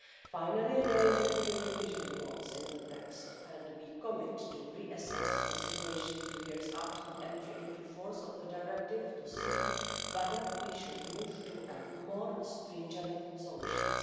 Finally, there is a clear revision clause in the text, and we commit to re-assessing the situation two years after the entry into force of the directive to see whether we should move to more stringent solutions.